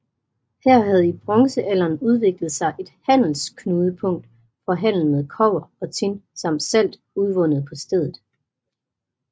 Her havde i bronzealderen udviklet sig et handelsknudepunkt for handel med kobber og tin samt salt udvundet på stedet